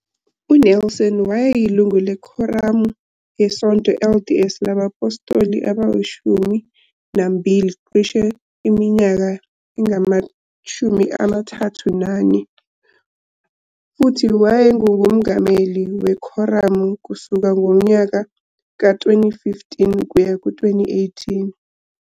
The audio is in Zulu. UNelson wayeyilungu leKhoramu yeSonto LDS LabaPhostoli AbayiShumi Nambili cishe iminyaka engama-34, futhi wayengumongameli wekhoramu kusuka ngonyaka ka-2015 kuya ku-2018.